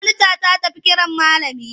Monita ta tafi kiran malami.